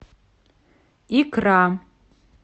икра